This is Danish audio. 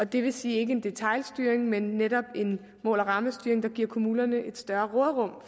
det vil sige ikke en detailstyring men netop en mål og rammestyring der giver kommunerne et større råderum